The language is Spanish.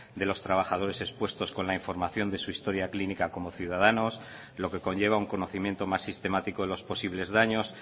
de los trabajadores expuestos con la información de su historia clínica como ciudadanos lo que conlleva un conocimiento más sistemático de los posibles daños